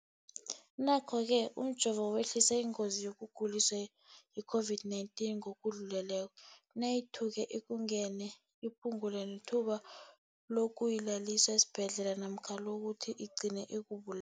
Nokho-ke umjovo wehlisa ingozi yokuguliswa yi-COVID-19 ngokudluleleko, nayithuke ikungenile, iphu ngule nethuba lokuyokulaliswa esibhedlela namkha lokuthi igcine ikubu